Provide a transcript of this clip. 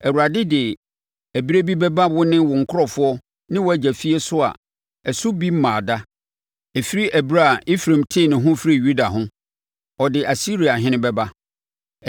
Awurade de ɛberɛ bi bɛba wo ne wo nkurɔfoɔ ne wʼagya fie so a ɛso bi mmaa da, ɛfiri ɛberɛ a Efraim tee ne ho firii Yuda ho; ɔde Asiriahene bɛba.”